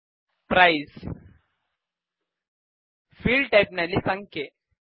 price field type ನಲ್ಲಿ ಸಂಖ್ಯೆ